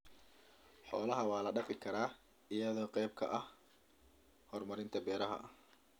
Xoolaha waa la dhaqi karaa iyadoo qayb ka ah horumarinta beeraha.